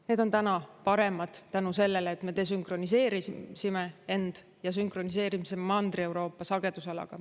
Need on täna paremad tänu sellele, et me desünkroniseerisime end ja sünkroniseerisime Mandri-Euroopa sagedusalaga.